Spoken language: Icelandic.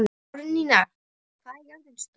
Árnína, hvað er jörðin stór?